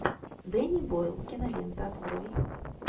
дэнни бойл кинолента открой